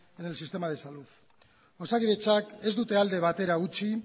en el sistema de salud osakidetzak ez dute alde batera utzi